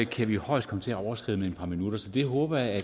kan vi højst komme til at overskride med et par minutter så det håber jeg at